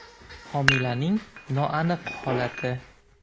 Homilaning noaniq holati.